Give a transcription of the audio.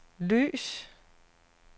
lys